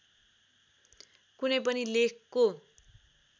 कुनै पनि लेखको